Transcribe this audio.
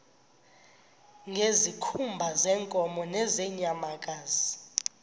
ngezikhumba zeenkomo nezeenyamakazi